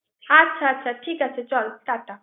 আচ্ছা আচ্ছা ঠিক আছে চল টাটা৷